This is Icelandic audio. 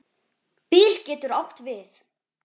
Bil getur átt við